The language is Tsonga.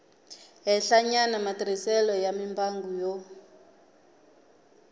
henhlanyana matirhiselo ya mimbangu yo